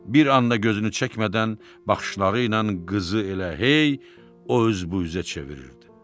Bir anda gözünü çəkmədən baxışları ilə qızı elə hey o üz bu üzə çevirirdi.